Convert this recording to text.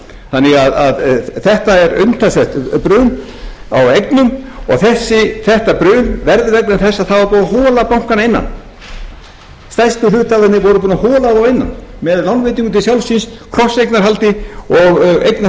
þannig að þetta er umtalsvert bann á eignum og þetta bann verður vegna þess að það var búið að hola bankana að innan stærstu hluthafarnir voru búnir að hola þá að innan með lánveitingum til sjálfs sín krosseignarhaldi og eignarhaldi þvers og kruss